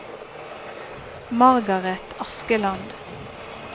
Margaret Askeland